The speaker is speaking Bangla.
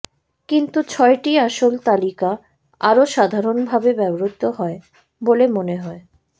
কিন্তু ছয়টি আসল তালিকা আরও সাধারণভাবে ব্যবহৃত হয় বলে মনে হয়